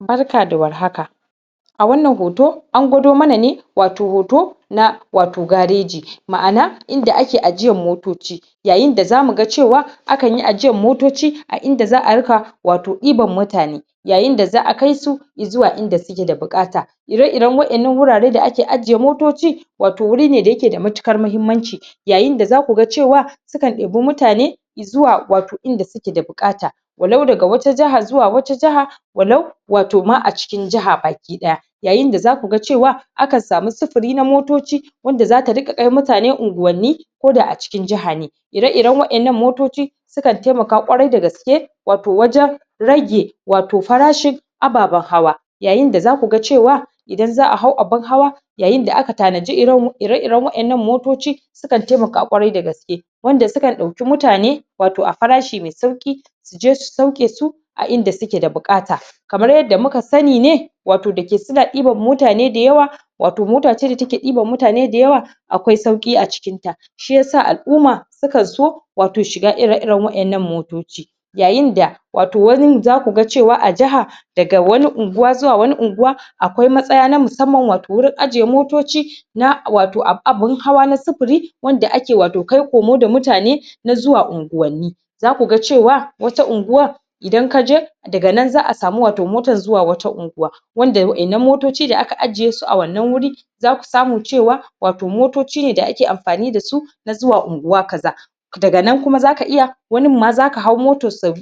Barka da war haka a wannan hoto an gwado mana ne wato hoto na wato gareji ma'ana inda ake ajiyan motoci yayin da zamu ga cewa akanyi ajiyan motoci a inda za'a ringa wato diban mutane yayin da za'a kai su zuwa inda suke da bukata ire iren wa'ennan wurare da ake ajiye motoci wato wuri ne da yake da matukar mahimmanci yayin da zaku ga cewa su kan debi mutane zuwa wato inda suke da bukata walau daga wata jahar zuwa wata jahar walau wato ma a cikin jaha ma baki daya yayain da zaku ga cewa akan samu sufuli na motoci wanda zata ringa kai mutane unguwanni koda a cikin jaha ne ire iren wa'ennan motoci sukan taimaka ƙwarai dagaske wato wajen rage wato farashin ababan hawa yayin da zaku ga cewa idan za'a hau abun hawa yayin da aka tanaji ire iren wa'ennan motoci su kan taimaka ƙwarai dagaske wanda sukan dauki mutane wato a farashi mai sauki suje su sauke su a inda suke da bukata kamar yadda muka sani ne wato dake suna deban mutane dayawa wato mota ce da yake diban mutane dayawa akwai sauki a cikin ta shiyasa al'umma sukan so wato shiga ire iren wa'ennan motoci yayin da wato wanin zaka ga cewa a jaha daga wani unguwa zuwa wani unguwa akwai matsaya na musamman wato wurin ajiye motoci na wato abun hawa na sufuri wanda ake wato kai komo da mutane na zuwa unguwanni zaku ga cewa wata unguwa idan kaje daga nanza'a samu wato mota zuwa wani unguwa wanda wa'ennan motoci daga ajiye su a wannan wuri zasu samu cewa wato motoci ne da ake amfani dasu na zuwa unguwa kaza daga nan kuma zaka iya wanin ma zaka hau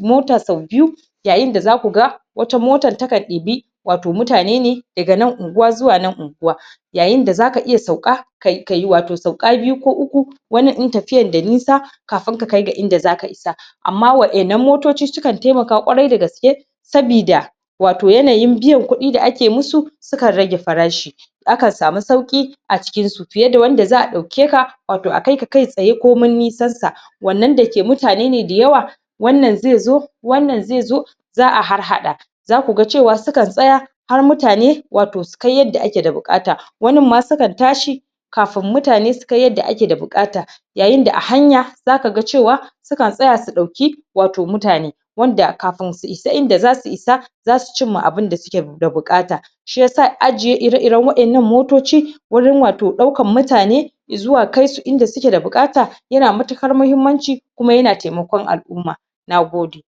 mota sau biyu yayin da zaku ga wata motan takan dibi wato mutane ne daga nan unguwa zuwa nan unguwa yayin da zaka iya sauka kayi wato sauka biyu ko uku wanin in tafiyan da nisa kafun ka kai ga inda zaka isa amma wa'ennan motoci sukan taimaka ƙwarai dagaske sabida wato yanyin biyan kuɗi da ake musu su kan rage farashi akan samu sauki a cikin su fiye da wanda za'a dauke ka wato a kai ka kai tsaye komin nisan sa wannan dake mutane ne dayawa wannan zai zo wannan zai zo za'a harhaɗa zaku ga cewa su kan tsaya har mutane wato su kai yarda ake da bukata wanin ma sukan tashi kafun mutane su kai yadda ake da bukata yayin da a hanya zaka ga cewa su kan tsaya su dauki wato mutane wanda kafun su isa inda zasu isa zasu chimma abun da suke da bukata shiyasa ajiye ire iren wa'ennan motoci wurin wato daukan mutane zuwa kai su inda suke da bukata yana matukar mahimmanci kuma yana taimakon al'umma nagode